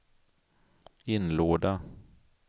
inlåda